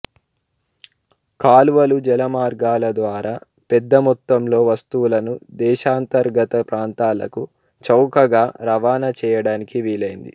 కాలువలు జలమార్గాల ద్వారా పెద్దమొత్తంలో వస్తువులను దేశాంతర్గత ప్రాంతాలకు చౌకగా రవాణా చేయడానికి వీలైంది